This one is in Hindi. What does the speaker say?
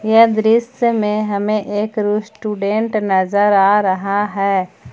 यह दृश्य में हमें एक रेस्टोरेंट नजर आ रहा है।